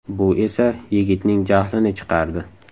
Bu esa yigitning jahlini chiqardi.